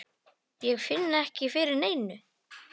Ég finn ekki fyrir neinu.